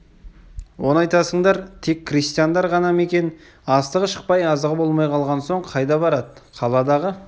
оны айтасыңдар тек крестьяндар ғана ма екен астығы шықпай азығы болмай қалған соң қайда барады қаладағы